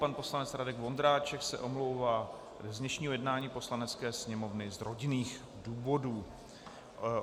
Pan poslanec Radek Vondráček se omlouvá z dnešního jednání Poslanecké sněmovny z rodinných důvodů.